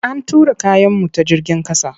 An tura kayanmu ta jigin ƙasa.